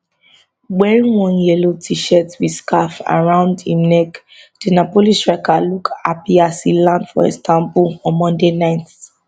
wearing one yellow tshirt wit scarf around im neck di napoli striker look happy as e land for istanbul on monday night